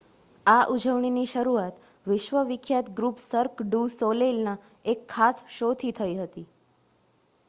આ ઉજવણીની શરૂઆત વિશ્વ વિખ્યાત ગ્રુપ સર્ક ડુ સોલેઇલના એક ખાસ શોથી થઈ હતી